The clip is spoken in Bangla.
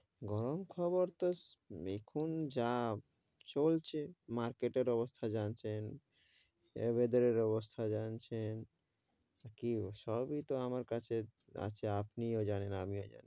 গরম খবর তো এখন যা চলছে market এর অবস্থা জানছেন share বাজারের অবস্থা জানছেন কি সবি তো আমার কাছে আসে আপনি ও জানছেন, আমিও জানি,